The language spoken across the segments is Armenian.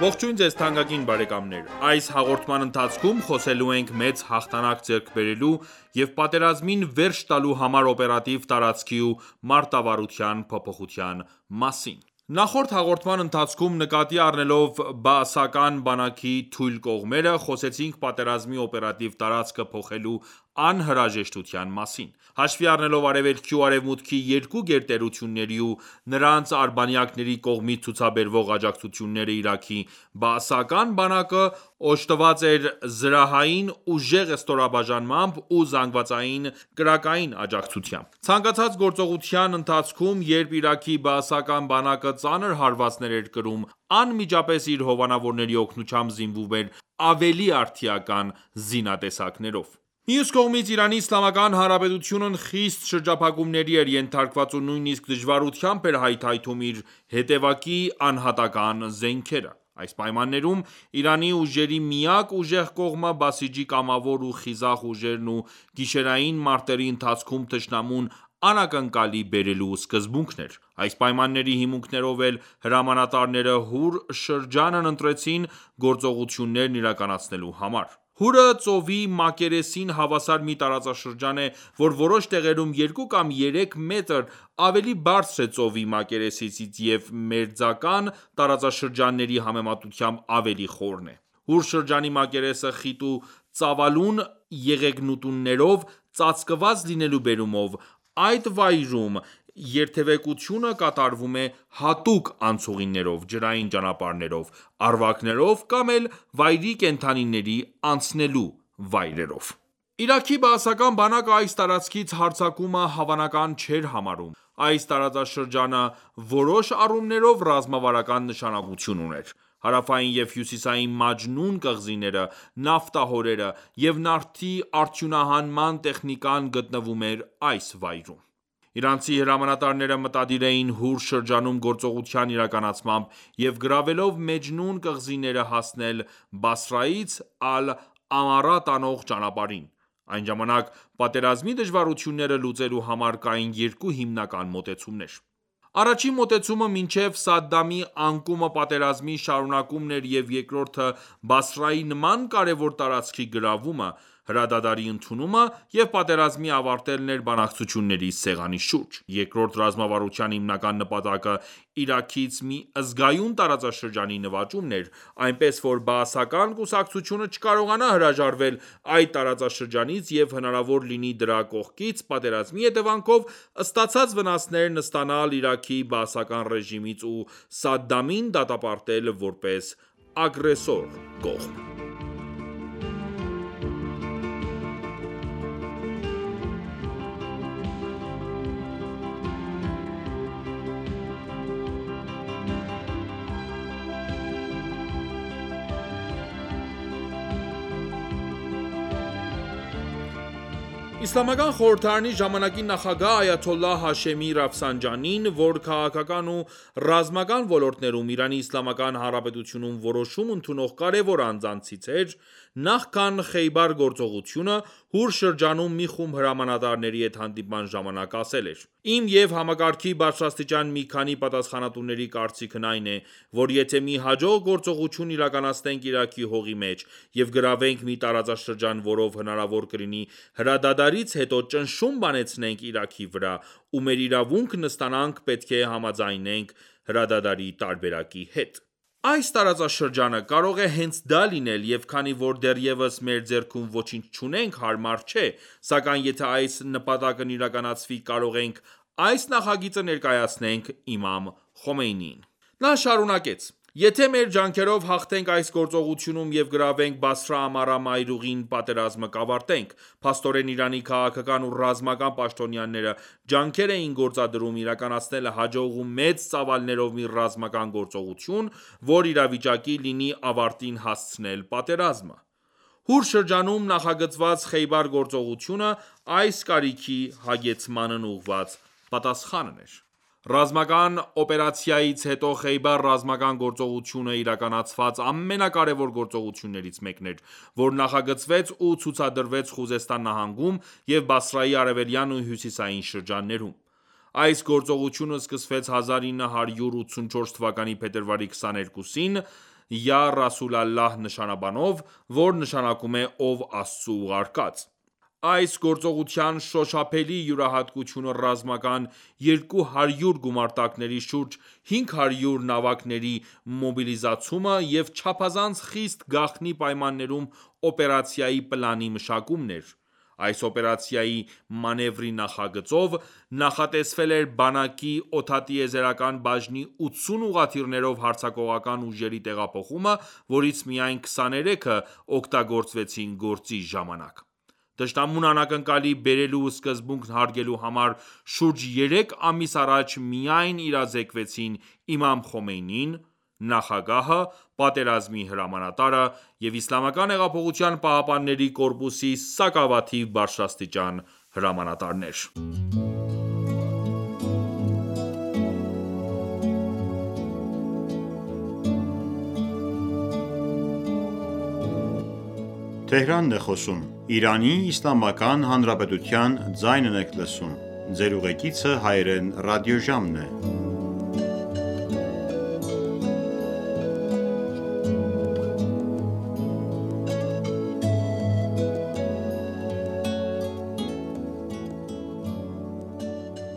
Ողջույն ձեզ թանկագին բարեկամներ: Այս հաղորդման ընթացքում խոսելու ենք մեծ հաղթանակ ձեռք բերելու և պատերազմին վերջ տալու համար օպերատիվ տարածքի ու մարտավարության փոփոխության մասին: Նախորդ հաղորդման ընթացքում նկատի առնելով բաասական բանակի թույլ կողմերը, խոսեցինք պատերազմի օպերատիվ տարածքը փոխելու անհրաժեշտության մասին: Հաշվի առնելով արևելքի ու արևմուտքի երկու գերտերությունների ու նրանց արբանյակների կողմից ցուցաբերվող աջակցությունները Իրաքի բաասական բանակը օժտված էր զրահային ուժեղ ստորաբաժանմամբ ու զանգվածային կրակային աջակցությամբ: Ցանկացած գործողության ընթացքում, երբ Իրաքի բաասական բանակը ծանր հարվածներ էր կրում անմիջապես իր հովանավորների օգնությամբ զինվում էր ավելի արդիական զինատեսակներով: Մյուս կողմից ԻԻՀ-ն խիստ շրջափակումների էր ենթարկված ու նույնիսկ դժվարությամբ էր հայթայթում իր հետևակի անհատական զենքերը: Այս պայմաններում Իրանի ուժերի միակ ուժեղ կողմը բասիջի կամավոր ու խիզախ ուժերն ու գիշերային մարտերի ընթացքում թշնամուն անակնկալի բերելու սկզբունքն էր: Այս պայմանների հիմունքներով էլ հրամանատարները Հուր շրջանն ընտրեցին գործողություններն իրականացնելու համար: Հուրը ծովի մակերեսին հավասար մի տարածաշրջան է, որ որոշ տեղերում երկու կամ երեք մետր ավելի բարձր է ծովի մակերեսից և մերձական տարածաշրջանների համեմատությամբ ավելի խորն է: Հուր շրջանի մակերեսը խիտ ու ծավալուն եղեգնուտներով ծածկված լինելու բերումով այդ վայրում երթևեկությունը կատարվում է հատուկ անցուղիներով, ջրային ճանապարհներով, առվակներով կամ էլ վայրի կենդանիների անցնելու վայրերով: Իրաքի բաասական բանակը այս տարածքից հարձակումը հավանական չէր համարում: Այս տարածաշրջանը որոշ առումներով ռազմավարական նշանակություն ուներ: Հարավային և Հյուսիսային Մաջնուն կղզիները, նավթահորերը և նավթի արդյունահանման տեխնիկան գտնվում էր այս վայրում: Իրանցի հրամանատարները մտադիր էին Հուր շրջանում գործողության իրականացմամբ և գրավելով Մաջնուն կղզիները հասնել Բասրաից Ալ-Ամարա տանող ճանապարհին: Այն ժամանակ պատերազմի դժվարությունները լուծելու համար կային երկու հիմնական մոտեցումներ: Առաջին մոտեցումը մինչև Սադդամի անկումը պատերազմի շարունակումն էր և երկրորդը Բասրայի նման կարևոր տարածքի գրավումը, հրադադարի ընդունումը և պատերազմի ավարտելն էր բանակցությունների սեղանի շուրջ: Երկրորդ ռազմավարության հիմնական նպատակը Իրաքից մի զգայուն տարածաշրջանի նվաճումն էր, այնպես որ բաասական կուսակցությունը չկարողանա հրաժարվել այդ տարածաշրջանից և հնարավոր լինի դրա կողքից պատերազմի հետևանքով ստացած վնասներն ստանալ Իրաքի բաասական ռեժիմից ու Սադդամին դատապարտել որպես ագրեսոր կողմ: Իսլամական խորհրդարանի ժամանակի նախագահ Այաթոլլահ Հաշեմի որ քաղաքական ու ռազմական ոլորտներում ԻԻՀ-ում որոշում ընդունող կարևոր անձանցից էր նախքան Խեյբար գործողությունը, Հուր շրջանում մի խումբ հրամանտարների հետ հանդիպման ժամանակ ասել էր.«Իմ և համակարգի բարձրաստիճան մի քանի պատասխանատուների կարծինքն այն է, որ եթե մի հաջող գործողություն իրականացնենք Իրաքի հողի մեջ և գրավենք մի տարածաշրջան որով հնարարվոր կլինի հրադադարից հետո ճնշում բանեցնենք Իրաքի վրա ու մեր իրավունքն ստանանք պետք է համաձայնենք հրադադարի տարբերակի հետ: Այս տարածաշրջանը կարող է հենց դա լինել և քանի որ դեռևս մեր ձեռքում ոչինչ չունենք հարմար չէ, սակայն եթե այս նպատակն իրականացվի կարող ենք այս նախագիծը ներկայացնենք Իմամ Խոմեյնիին»: Նա շարունեց.«Եթե մեր ջանքերով հաղթենք այս գործողությունում և գրավենք Բասրա-Ամարա մայրուղին պատերազմը կավարտենք: Փաստորեն Իրանի քաղաքական ու ռազմական պաշտոնյաները ջանքեր էին գործադրում իրականացնել հաջող ու մեծ ծավալներով մի ռազմական գործողություն, որ իվիճակի լինի ավարտին հասցնել պատերազմը: Հուր շրջանում նախագծված Խեյբար գործողությունը այս կարիքի հագեցմանն ուղղված պատասխան էր: Ռամազան օպերացիայից հետո Խեյբար ռազմական գործողությունը իրականացված ամենակարևոր գործողություններից մեկն էր, որ նախագծվեց ու գործադրվեց Խուզեստան նահանգում և Բասրայի արևելյան ու հյուսիսային շրջաններում: Այս գործողությունը սկսվեց 1984թ. փետրվարի 22-ին «Յա Ռասուլ Ալլահ» նշանաբանով, որ նշանակում է Ով Աստծու ուղարկած: Այս գործողության շոշափելի յուրահատկությունը ռազմական 200 գումարտակների, շուրջ 500 նավակների մոբիլիզացումը և չափազանց խիստ գաղտնի պայմաններում օպերացիայի պլանի մշակումն էր: Այս օպերացիայի մանևրի նախագծով նախատեսվել էր բանակի օդատիեզերական բաժնի 80 ուղղաթիռներով հարձակողական ուժերի տեղափոխումը, որից միայն 23-ը օգտագործվեցին գործի ժամանակ: Թշնամուն անակնկալի բերելու սկզբունքն հարգելու համար շուրջ երեք ամիս առաջ միայն իրազեկվեցին Իմամ Խոմեյնին, Նախագահը, պատերազմի հրամանատարը և ԻՀՊԿ-ի սակավաթիվ բարձրաստիճան հրամանատարներ: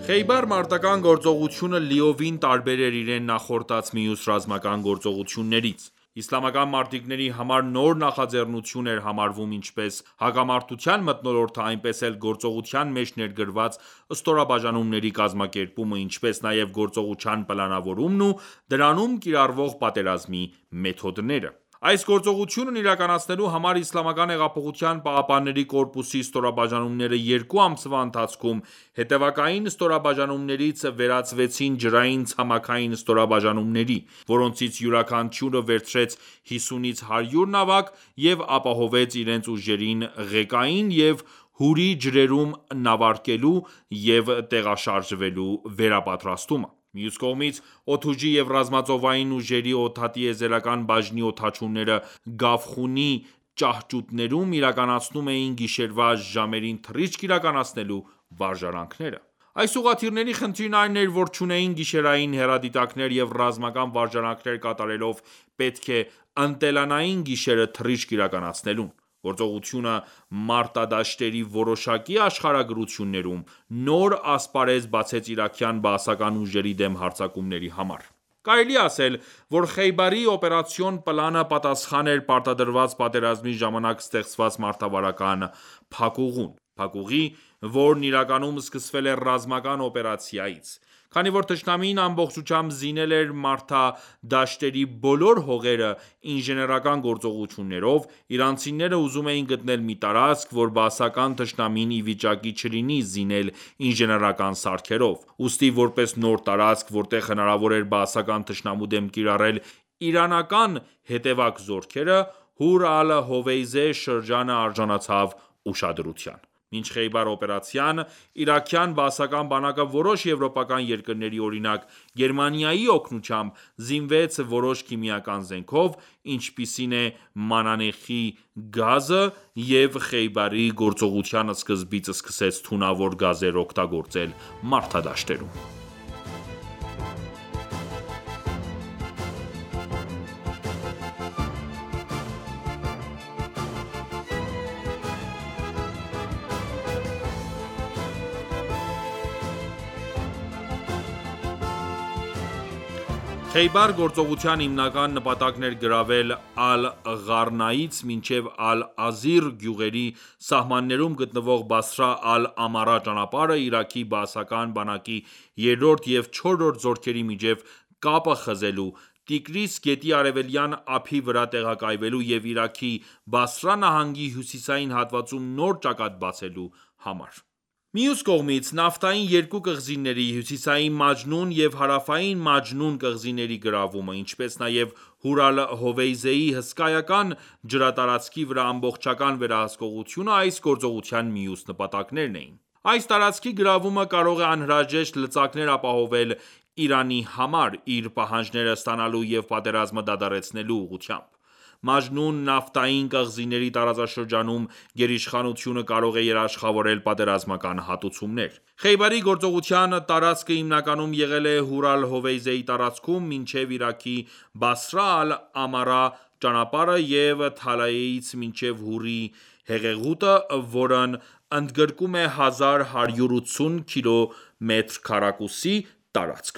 Խեյբար մարտական գործողությունը լիովին տարբեր էր իրեն նախորդած մյուս ռազմական գործողություններից: Իսլամական մարտիկների համար նոր նախաձեռնություն էր համարվում ինչպես հակամարտության մթնոլորտը, այնպես էլ գործողության մեջ ներգրավված ստորաբաժանումների կազմակերպումը, ինչպես նաև գործողության պլանավորումն ու դրանում կիրառվող պատերազմի մեթոդները։ Այս գործողությունն իրականացնելու համար Իսլամական հեղափոխության պահապանների կորպուսի ստորաբաժանումները երկու ամսվա ընթացքում հետևակային ստորաբաժանումներից վերածվեցին ջրային-ցամաքային ստորաբաժանումների, որոնցից յուրաքանչյուրը վերցրեց 50-ից 100 նավակ և ապահովեց իրենց ուժերին ղեկային և Հուրի ջրերում նավարկելու և տեղաշարժվելու վերպատրաստումը: Մյուս կողմից Օդուժի և ռազմածովային ուժերի օդատիեզերական բաժնի օդաչուները Գավխունի ճաhճուտներում իրականացնում էին գիշերվա ժամերին թռիչք իրականացնելու վարժանքները: Այս ուղղաթիռների խնդիրն այն էր, որ չունեին գիշերային հեռադիտակներ և ռազմական վարժանքներ կատարելով պետք է ընտելանային գիշերը թռիչք իրականացնելուն: Գործողությունը, մարտադաշտերի որոշակի աշխարհագրություններում, նոր ասպարեզ բացեց իրաքյան բաասական ուժերի դեմ հարձակումների համար: Կարելի է ասել, որ Խեյբարի օպերացիոն պլանը պատասխան էր պարտադրված պատերազմի ժամանակ ստեղծված մարտավարական փակուղուն։ Փակուղի, որն իրականում սկսվել է Ռամազան օպերացիայից: Քանի որ թշնամին ամբողջությամբ զինել էր մարտադաշտերի բոլոր հողերը ինժեներական գործողություններով, իրանցիները ուզում էին գտնել մի տարածք, որ բաասական թշնամին իվիճակի չլինի զինել ինժեներական սարքերով, ուստի որպես նոր տարածք, որտեղ հնարավոր էր բաասական թշնամու դեմ կիրառել իրանական հետևակ զորքերը Հուր Ալ-Հովեյզե շրջանը արժանացավ ուշադրության: Մինչ Խեյբար օպերացիան, իրաքյան բաասական բանակը, որոշ եվրոպական երկրների, օրինակ՝ Գերմանիայի օգնությամբ, զինվեց որոշ քիմիական զենքով, ինչպիսին է մանանեխի գազը, և Խեյբարի գործողության սկզբից սկսեց թունավոր գազեր օգտագործել մարտադաշտերում: Խեյբար գործողության հիմնական նպատակն էր գրավել Ալ-Ղարնաից մինչև Ալ-Ազիր գյուղերի սահմաններում գտնվող Բասրա Ալ-Ամարա ճանապարհը Իրաքի բաասական բանակի երրորդ և չորրորդ զորքերի միջև կապը խզելու, Տիգրիս գետի արևելյան ափի վրա տեղակայվելու և Իրաքի Բասրա նահանգի հյուսիսային հատվածում նոր ճակատ բացելու համար: Մյուս կողմից, նավթային երկու կղզիների՝ Հյուսիսային Մաջնուն և Հարավային Մաջնուն կղզիների գրավումը, ինչպես նաև Հուր Ալ-Հովեյզեի հսկայական ջրատարածքի վրա ամբողջական վերահսկողությունը այս գործողության մյուս նպատակներն էին: Այս տարածքի գրավումը կարող է անհրաժեշտ լծակներ ապահովել Իրանի համար՝ իր պահանջները ստանալու և պատերազմը դադարեցնելու համար։ Մաջնուն նավթային կղզիների տարածաշրջանում գերիշխանությունը կարող է երաշխավորել պատերազմական հատուցումներ: Խեյբարի գործողության տարածքը հիմնականում եղել է Հուր Ալ-Հովեյզեի տարածքում, մինչև Իրաքի Բասրա Ալ-Ամարա ճանապարհը և Թալայեից մինչև Հուրի հեղեղուտը, որն ընդգրկում է 1180 քկմ. տարածք: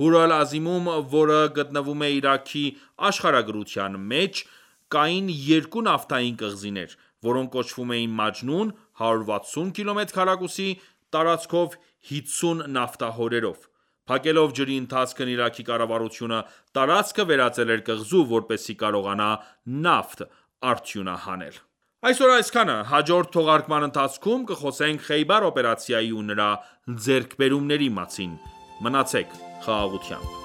Հուր Ալ-Ազիմում, որը գտնվում է Իրաքի աշխարհագրության մեջ, կային երկու նավթային կղզիներ, որոնք կոչվում էին Մաջնուն՝ 160 քկմ. տարածքով, 50 նավթահորերով: Փակելով ջրի ընթացքն Իրաքի կառավարությունը տարածքը վերածել էր կղզու, որպեսզի կարողանա նավթ արդյունահանել։ Այսօր այսքանը, հաջորդ թողարկման ընթացքում կխոսենք Խեյբար օպերացիայի ու նրա ձեռքբերումների մասին:Մնացեք խաղաղությամբ։